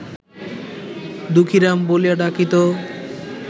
দুঃখীরাম বলিয়া ডাকিত